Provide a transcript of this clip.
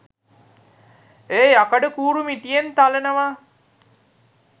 ඒ යකඩ කූරු මිටියෙන් තලනවා